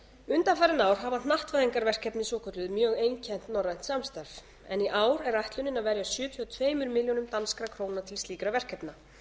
undanfarin ár hafa hnattvæðingarverkefni svokölluð mjög einkennt norrænt samstarf en í ár er áætlun að verja sjötíu og tveimur milljónum danskra króna til slíkra verkefna